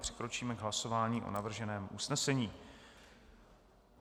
Přikročíme k hlasování o navrženém usnesení.